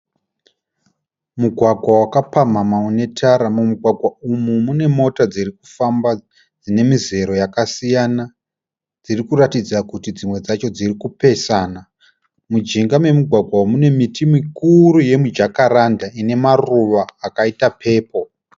Mugwagwa wakapamhamha une tara. Mumugwagwa umu mune mota dziri kufamba dzine mizero yakasiyana dziri kuratidza kuti dzimwe dzacho dziri kupesana. Mumujinga memugwagwa umu mune miti mikuru yemijakaranda ine maruva akaita pepuro.